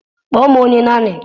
Kpọọ m onye nannii